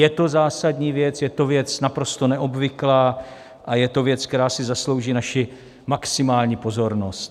Je to zásadní věc, je to věc naprosto neobvyklá a je to věc, která si zaslouží naši maximální pozornost.